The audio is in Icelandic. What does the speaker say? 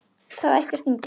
Það ætti að stinga.